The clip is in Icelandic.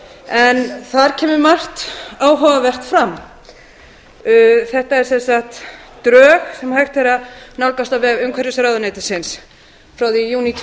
en þar kemur margt áhugavert fram þetta eru drög sem hægt er að nálgast á veg umhverfisráðuneytisins frá því í júní tvö